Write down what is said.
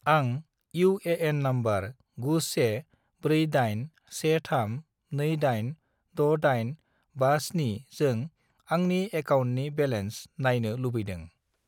आं UAN. Number 914813286857 जों आंनि एकाउन्टनि बेलेन्स नायनो लुबैदों।